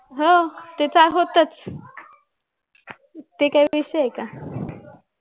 हो ते तर होताच ते काय विषय आहे का